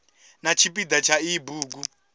na tshipida tsha iyi bugu